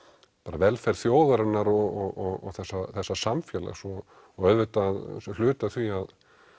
velferð þjóðar og þessa þessa samfélags og auðvitað hluta af því að